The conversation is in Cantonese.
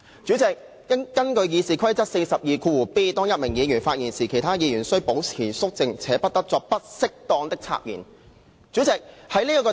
主席，根據《議事規則》第 42d 條，"當一名議員發言時，其他議員須保持肅靜，且不得作不適當的插言"。